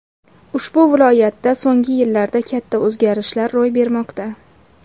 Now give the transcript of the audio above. Ushbu viloyatda so‘nggi yillarda katta o‘zgarishlar ro‘y bermoqda.